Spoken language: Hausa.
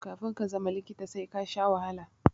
Kafi ka zama likita sai kasha wahala